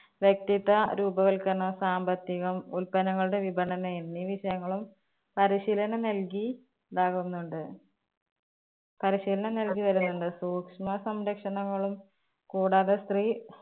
വ്യക്തിത്വ രൂപവൽക്കരണം സാമ്പത്തികം ഉൽപ്പന്നങ്ങളുടെ വിപണന എന്നീ വിഷയങ്ങളും പരിശീലനം നൽകി ഇതാകുന്നുണ്ട്. പരിശീലനം നൽകി വരുന്നുണ്ട്. സൂക്ഷ്മ സംരക്ഷണങ്ങളും കൂടാതെ സ്ത്രീ